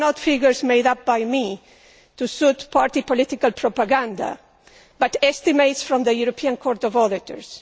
These are not figures made up by me to suit party political propaganda, but estimates from the European Court of Auditors.